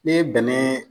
Ne ye bɛnɛ